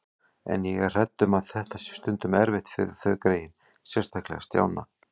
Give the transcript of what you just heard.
En ég er hrædd um að þetta sé stundum erfitt fyrir þau greyin, sérstaklega Stjána